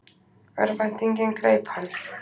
Örvæntingin greip hann.